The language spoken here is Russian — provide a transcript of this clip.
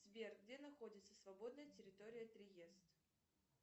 сбер где находится свободная территория триест